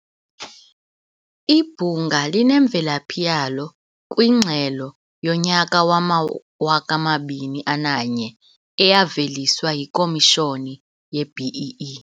Ibhunga linemvelaphi yalo kwingxelo yowama-2001 eyaveliswa yiKomishoni ye-BEE.